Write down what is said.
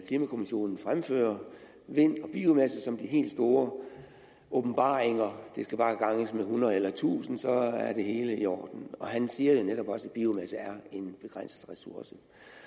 klimakommissionen fremfører vind og biomasse som de helt store åbenbaringer det skal bare ganges med hundrede eller tusind så er det hele i orden og han siger jo netop også at biomasse er en begrænset ressource